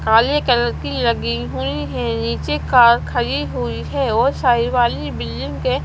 काले कलर की लगी हुई है नीचे कार खड़ी हुई है और साइड वाली बिल्डिंग के--